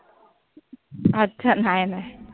अच्छा. नाय नाय.